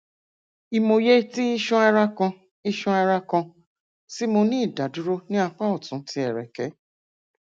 ìmòye ti iṣanara kan iṣanara kan ti mo ni idaduro ni apa ọtun ti ẹrẹkẹ